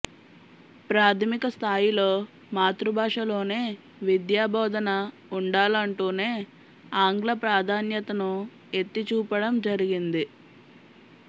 ప్రాథమిక స్థాయిలో మాతృభాషలోనే విద్యాబోధన వుండాలంటూనే ఆంగ్ల ప్రాధాన్యతను ఎత్తి చూపడం జరిగింది